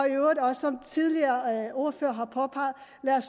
i øvrigt også som tidligere ordførere har påpeget